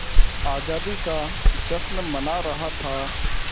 आज़ादी का जश्न मना रहा था